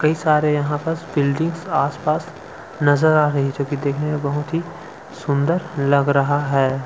कई सारे यहाँ पर बिल्डिंग आसपास नज़र आ रही है ये जगह देखने मे बहुत सुंदर लग रहा है।